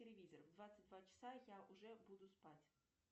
телевизор в двадцать два часа я уже буду спать